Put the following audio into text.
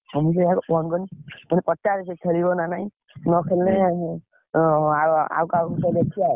ମୁଁ ସେଇ ସକାଶେ phone କଲି, ମୁଁ କହିଲି ପଚାରେ ସେ ଖେଳିବ ନା ନାଇଁ ନ ଖେଳିଲେ ଆ ଆଉ କାହାକୁ ଗୋଟେ ଦେଖିଆ ଆଉ।